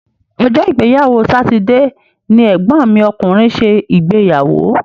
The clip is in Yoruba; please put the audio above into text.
Ọjọ́ ìgbéyàwó sátidé ni ẹ̀gbọ́n mi ọkùnrin ṣe ìgbéyàwó.